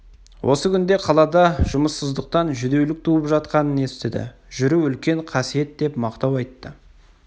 осы күнде қалада жұмыссыздан жүдеулік туып жатқанын естіді жүру үлкен қасиет деп мақтау айтты